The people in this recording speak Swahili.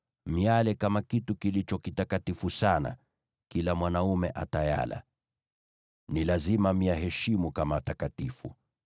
Mtaila kama kitu kilicho kitakatifu sana; kila mwanaume ataila. Ni lazima mtaiheshimu kama takatifu.